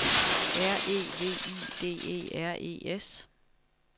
R E V I D E R E S